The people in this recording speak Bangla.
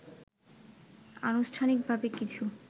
আনুষ্ঠানিকভাবে কিছু